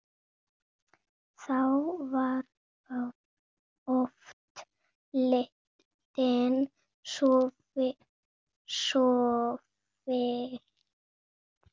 Þá var oft lítið sofið.